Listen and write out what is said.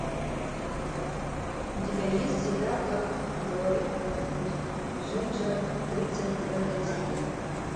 у тебя есть сериал как говорит джинджер тридцать девятая серия